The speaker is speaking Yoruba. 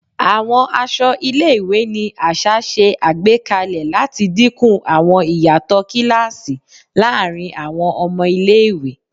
Àwọn aṣọ ilé-ìwé ni aṣa ṣe àgbékalè láti dínkù àwọn ìyàtọ̀ kíláàsì láàrin àwọn ọmọ ilé-ìwé